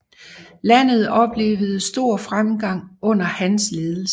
Landet oplevede stor fremgang under hans ledelse